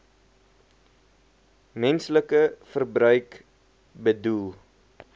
menslike verbruik bedoel